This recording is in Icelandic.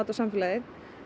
samfélagið